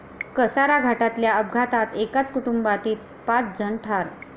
कसारा घाटातल्या अपघातात एकाच कुटुंबातील पाच जण ठार